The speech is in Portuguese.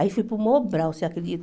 Aí fui para o Mobral, você acredita?